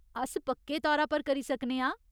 अस पक्के तौरा पर करी सकने आं।